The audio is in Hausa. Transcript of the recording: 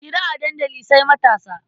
Hira a dandali sai matasa.